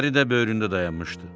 Əri də böyründə dayanmışdı.